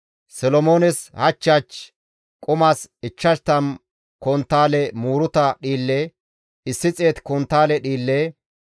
Solomoones hach hach qumas 50 konttaale muuruta dhiille, 100 konttaale dhiille,